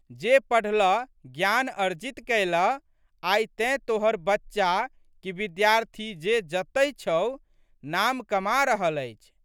जेँ पढ़लह, ज्ञान अर्जित कयलह आइ तेँ तोहर बच्चा कि विद्यार्थी जे जतहि छहु, नाम कमा रहल अछि।